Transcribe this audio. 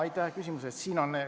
Aitäh küsimuse eest!